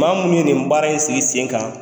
Maa munu ye nin baara in sigi sen kan